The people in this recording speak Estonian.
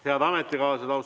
Head ametikaaslased!